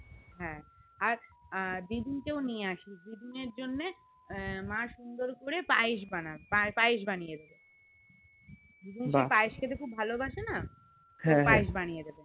হ্যাঁ আর দিদুন কেও নিয়ে আসিস দিদুন এর জন্য মা সুন্দর করে পায়েস বানিয়েদেবে দিদু খুব পাইসে খেতে ভালোবাসেন তাই পায়েস বানিয়েদেবে